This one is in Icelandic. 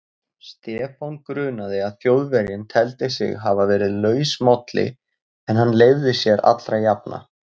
Stefán grunaði að Þjóðverjinn teldi sig hafa verið lausmálli en hann leyfði sér allra jafna.